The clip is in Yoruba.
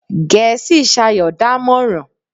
Gẹ̀ẹ́sì sayọ̀ dámọ̀ràn.